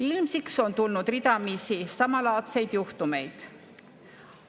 Ilmsiks on tulnud ridamisi samalaadseid juhtumeid.